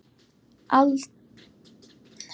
Það var aldrei þvottur í honum.